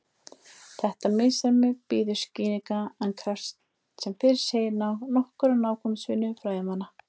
Þetta misræmi bíður skýringar en krefst sem fyrr segir nokkurrar nákvæmnisvinnu fræðimanna.